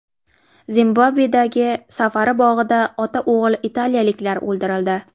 Zimbabvedagi safari bog‘ida ota-o‘g‘il italiyaliklar o‘ldirildi.